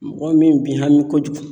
Mɔgɔ min bi hami kojugu